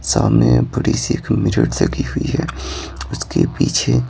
सामने बड़ी सी एक मिरर लगी हुई है उसके पीछे--